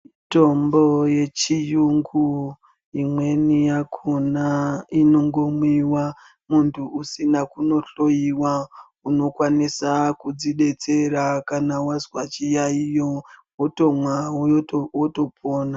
Mitombo yechiyungu imweni yakhona inongomwiwa muntu usina kuhloiwa. Unokwanisa kudzidetsera kana wazwa chiyaiyo, wotomwa woto wotopona.